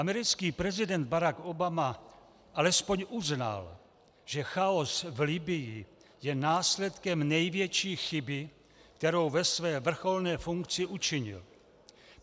Americký prezident Barack Obama alespoň uznal, že chaos v Libyi je následkem největší chyby, kterou ve své vrcholné funkci učinil.